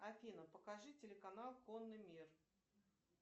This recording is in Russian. афина покажи телеканал конный мир